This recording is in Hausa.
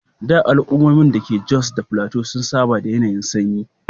A da, al’ummomin da ke Jos Plateau sun saba da yanayin sanyi.